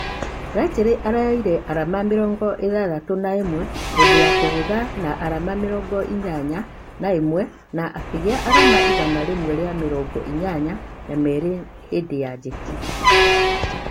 langley araeoire arama mirongo ithathatũ na imwe hindi ya kũgutha na arama mĩrongo inyanya na ĩmwe na akĩgĩa arama igana rĩmwe rĩa mĩrongo inya na merĩ hĩndĩ ya jeki